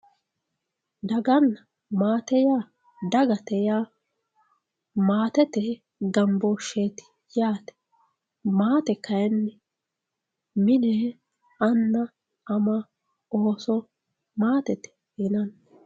Daganna matte ya dagatte ya matette ganbosheti yate matte kayinni mine ana ama osso matette yinanni